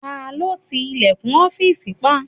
Ta ló ti ilẹ̀kùn ọ́fìsì pa?